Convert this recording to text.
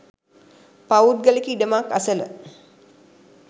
පෞද්ගලික ඉඩමක් අසල